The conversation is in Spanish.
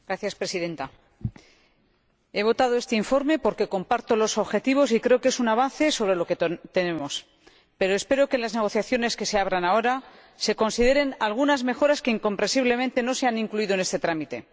Señora Presidenta, he votado a favor de este informe porque comparto sus objetivos y creo que es un avance frente a lo que tenemos, pero espero que en las negociaciones que se abran ahora se consideren algunas mejoras que, incomprensiblemente, no se han incluido en este trámite.